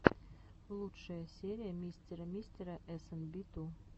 лучшая серия мистера мистера эс эн би ту